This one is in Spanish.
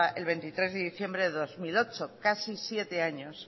el veintitrés de diciembre de dos mil ocho casi siete años